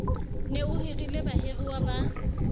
ne o hirile bahiruwa ba